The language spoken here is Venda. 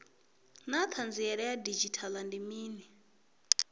naa hanziela ya didzhithala ndi mini